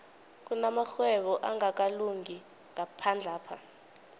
kunamarhwebo angakalungi ngaphandlapha